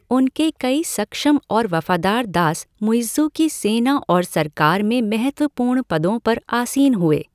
उनके कई सक्षम और वफादार दास मुइज़्ज़ू की सेना और सरकार में महत्वपूर्ण पदों पर आसीन हुए।